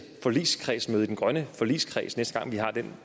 forligskredsmøde i den grønne forligskreds næste gang vi har den